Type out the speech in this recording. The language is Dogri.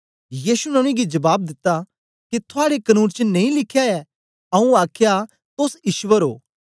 यीशु ने उनेंगी जबाब दिता के थुआड़े कनून च नेई लिख्या ऐ आऊँ आखया तोस ईश्वर ओ